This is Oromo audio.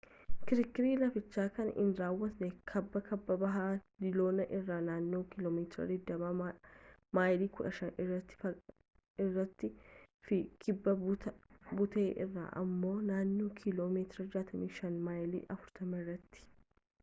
kirkirri lafichaa kan inni raawwate kaaba-kaaba-bahaa diiloon irraa naannoo kiiloomeetira 20 maayilii 15 irrattii fi kibba buttee irraa ammoo naannoo kiiloo meetira 65 maayilii 40 irratti